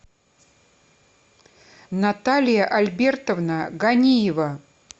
наталья альбертовна ганиева